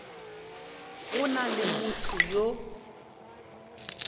go na le motho yo